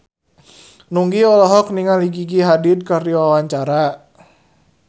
Nugie olohok ningali Gigi Hadid keur diwawancara